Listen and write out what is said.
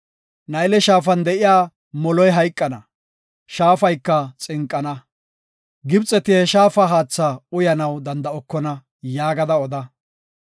Nayle Shaafan de7iya moloy hayqana; shaafayka xinqana. Gibxeti he shaafa haatha uyanaw danda7okona” yaagada oda.